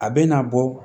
A bɛ na bɔ